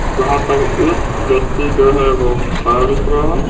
जहां पर एक व्यक्ति जो है वो खड़ा दिख रहा है।